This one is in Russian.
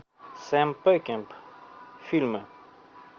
сэм пекинп фильмы